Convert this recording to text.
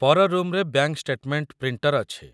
ପର ରୁମ୍‌ରେ bank statement printer ଅଛି